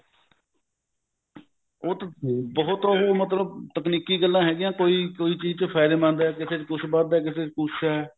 ਉਹ ਤਾਂ ਬਹੁਤ ਉਹ ਮਤਲਬ ਤਕਨੀਕੀ ਗੱਲਾ ਹਾਗਿਆ ਕੋਈ ਕੋਈ ਚੀਜ ਚ ਫਾਇਦੇਮੰਦ ਐ ਕਿਸੇ ਚ ਕੁੱਛ ਬਚਦਾ ਕਿਸੇ ਚ ਕੁੱਛ ਐ